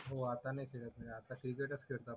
हो आता नी खेळात न आता क्रीकरतच खेळतात